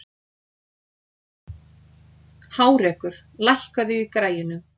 Hárekur, lækkaðu í græjunum.